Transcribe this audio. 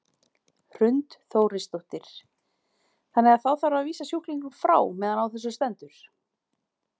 Hrund Þórsdóttir: Þannig að þá þarf að vísa sjúklingum frá meðan á þessu stendur?